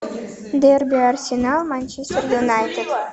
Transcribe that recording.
дерби арсенал манчестер юнайтед